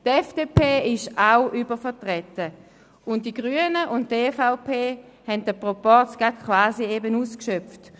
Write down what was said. Die FDP ist ebenfalls übervertreten, und die Grünen und die EVP haben den Proporz quasi gerade so ausgeschöpft.